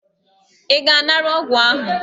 Ị ga-anara ọgwụ ahụ?